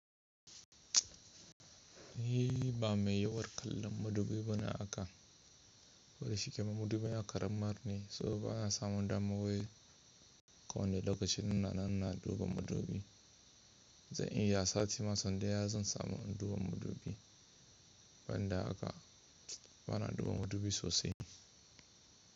Ni ba mai yawan kallon madubi ba ne haka. Wadda shike mun madubin ya ƙaramin maga ni so ba'a samu daman wai wa ne lokacin inanan ina duba madubi. Zan iya sa ti ma sanda ya zan samu in duba madubi banda haka ba na duba madubi sosai.